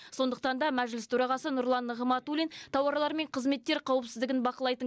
сондықтан да мәжіліс төрағасы нұрлан нығматулин тауарлар мен қызметтер қауіпсіздігін бақылайтын